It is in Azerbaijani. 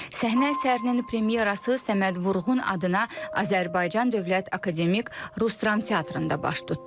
Səhnə əsərinin premyerası Səməd Vurğun adına Azərbaycan Dövlət Akademik Rus Dram Teatrında baş tutdu.